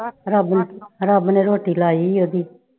ਰੱਬ ਰੱਬ ਨੇ ਰੋਟੀ ਲਾਈ ਹੋਈ ਆ ਉਹਦੀ।